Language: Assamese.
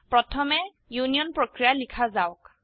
প্রথমে ইউনিয়ন প্রক্রিয়া লিখা যাওক